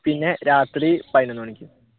പിന്നെ രാത്രി പതിനൊന്നു മണിക്ക്